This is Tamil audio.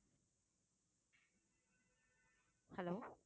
hello